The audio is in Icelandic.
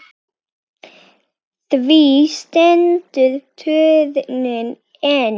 Því stendur turninn enn.